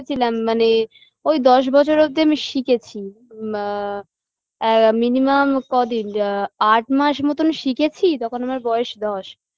শিখেছিলাম মানে ওই দশ বছর অব্দি আমি শিখেছি মা আ minimum কদিন আট মাস মতন শিখেছি তখন আমার বয়স দশ